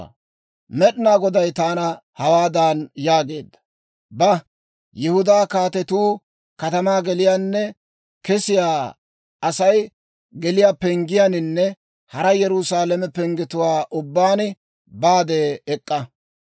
Med'inaa Goday taana hawaadan yaageedda; «Ba, Yihudaa kaatetuu katamaa geliyaanne kesiyaa Asay geliyaa penggiyaaninne hara Yerusaalame penggetuwaa ubbaan baade ek'k'a.